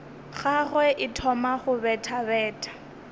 gagwe e thoma go bethabetha